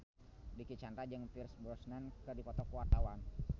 Dicky Chandra jeung Pierce Brosnan keur dipoto ku wartawan